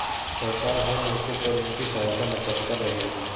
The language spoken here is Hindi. सरकार हर मोर्चे पर उनकी सहायता में तत्पर रहेगी